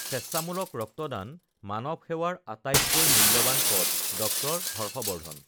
স্বেচ্ছামূলক ৰক্তদান মানৱ সেৱাৰ আটাইতকৈ মূল্যবান পথঃ ড০ হৰ্শ বৰ্ধন